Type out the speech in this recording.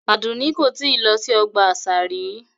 Adunni ko tii lo si ọgba asa ri